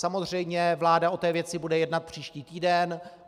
Samozřejmě vláda o té věci bude jednat příští týden.